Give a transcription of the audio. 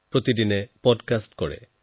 প্ৰতিদিনে পডকাষ্টো কৰে